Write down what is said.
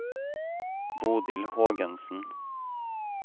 Bodil Hågensen